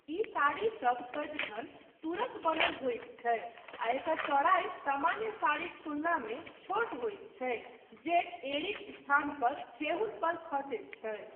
ई साड़ीसब सदिखन तूरक बनल होइत छै आ एकर चौड़ाई सामान्य साड़ीक तुलनामे छोट होइत छै, जे एँड़ीक स्थान पर ठेहुन पर खसैत छै।